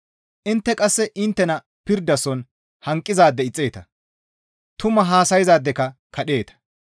Intte qasse inttena pirdason hanqizaade ixxeeta; tumu haasayzaadekka kadheeta.